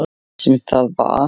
Sem það var.